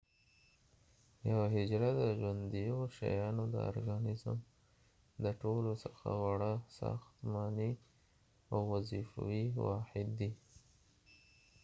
یوه حجره د ژونديو شيانو د ارګانزم د ټولوڅخه وړه ساختمانی او وظیفوي واحد دي